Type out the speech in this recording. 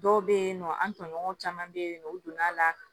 Dɔw bɛ yen nɔ an tɔɲɔgɔnw caman bɛ yen nɔ u donn'a la